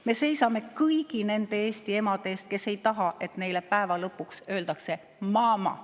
Me seisame kõigi nende eesti emade eest, kes ei taha, et neile päeva lõpus öeldakse mama.